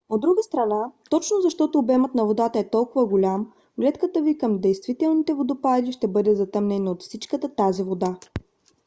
от друга страна точно защото обемът на водата е толкова голям гледката ви към действителните водопади ще бъде затъмнена от всичката тази вода!